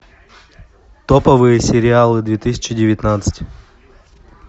топовые сериалы две тысячи девятнадцать